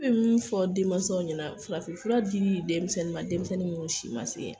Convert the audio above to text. Ne bɛ min fɔ denmansaw ɲɛna, farafin fura di denmisɛnnin minnu si ma se